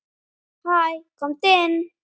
Hæ, komdu inn.